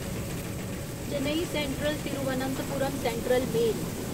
Chennai central Thiruvananthapuram central mail